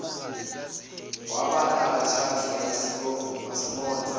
wabala kathathu basiphonsa